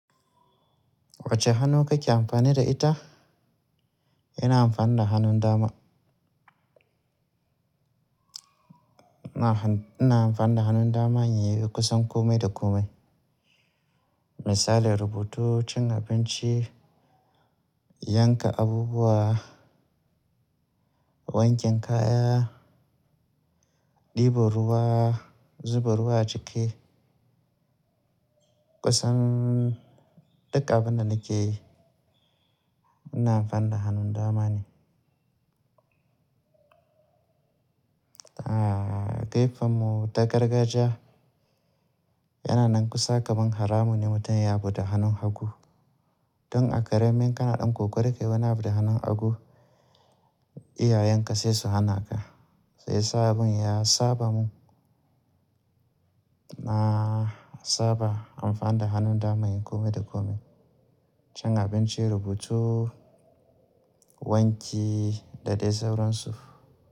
Wacce hannu kake amfani da ita? Ina amfani da hannun dama. Ina amfani da hannun dama in yi kusan kome da kome. Misali rubutu, cin abinci, yanka abubuwa, wanken kaya, ɗebo ruwa, zuba ruwa cike. Kusan duka abin da nake yi ina amfani da hannun dama ne. A gaifa mu ta gargajiya yana nan kusa kaman haramu ne mutum ya yi abu ɗa hannun hagu. Don a karamin kana ɗan kokari ka yi wani abu da hannun hagu, iyayenka sai su hana ka. Sai sabon ya saba mu, na saba amfani da hannun dama yin kome da kome. Cin abinci, rubutu, wanki da dai sauransu.